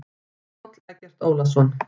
Páll Eggert Ólason.